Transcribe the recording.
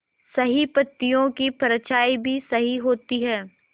सही पत्तियों की परछाईं भी सही होती है